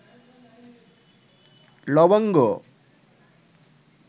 লবঙ্গ